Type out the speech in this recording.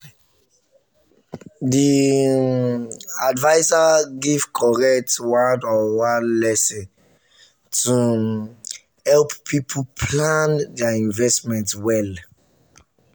the um adviser give correct one-on-one lesson to um help people plan their investment well.